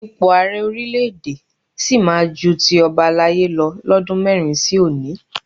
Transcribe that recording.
Ipò Ààrẹ orílẹ̀ èdè sì máa ju ti ọbalaye lọ lọ́dún mẹ́rin sí òní